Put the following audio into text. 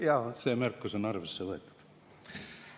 Jaa, see märkus on arvesse võetud.